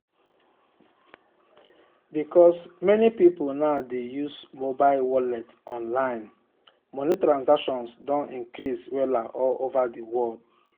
because many people now dey use mobile wallet online money transactions don increase wella all over the world.